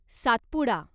Satpura